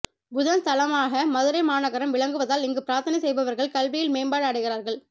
புதன் ஸ்தலமாக மதுரை மாநகரம் விளங்குவதால் இங்கு பிரார்த்தனை செய்பவர்கள் கல்வியில் மேம்பாடு அடைகிறார்கள்